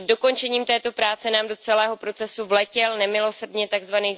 Před dokončením této práce nám do celého procesu vletěl nemilosrdně tzv.